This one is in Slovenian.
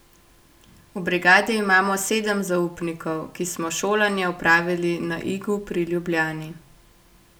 V brigadi imamo sedem zaupnikov, ki smo šolanje opravili na Igu pri Ljubljani.